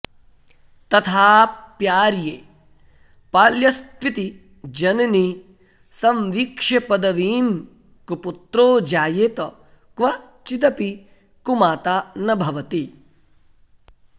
तथाऽऽप्याऽऽर्ये पाल्यस्त्विति जननि संवीक्ष्यपदवीं कुपुत्रो जायेत क्वचिदपि कुमाता न भवति